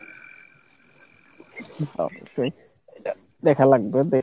দেখা লাগবে